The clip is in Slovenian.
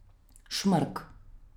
Šmrk.